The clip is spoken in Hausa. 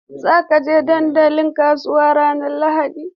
Za ku je dandalin kasuwa ranar Lahadi?